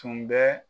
Tun bɛ